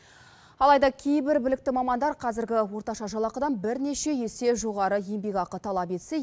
алайда кейбір білікті мамандар қазіргі орташа жалақыдан бірнеше есе жоғары еңбекақы талап етсе